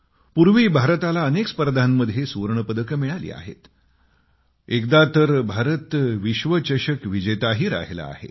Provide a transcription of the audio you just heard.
पूर्वी भारताला अनेक स्पर्धांमध्ये सुवर्ण पदकं मिळाली आहेत आणि एका वेळेस तर भारत विश्व चषक विजेताही राहिला आहे